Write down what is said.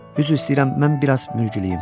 Üzr istəyirəm, mən biraz mürgüləyim.